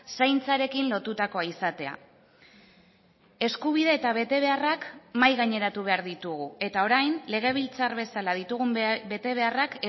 zaintzarekin lotutakoa izatea eskubide eta betebeharrak mahai gaineratu behar ditugu eta orain legebiltzar bezala ditugun betebeharrak